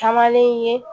Caman le ye